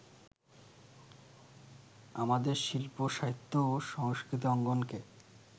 আমাদের শিল্প-সাহিত্য ও সংস্কৃতি অঙ্গনকে